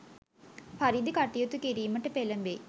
පරිදි කටයුතු කිරීමට පෙලඹෙයි.